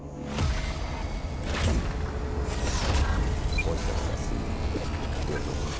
Então são coisas assim de outro mundo.